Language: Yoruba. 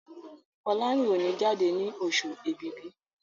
Folarin o ní jáde ní Oṣù Ẹ̀bìbì